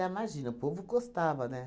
Imagina, o povo gostava, né?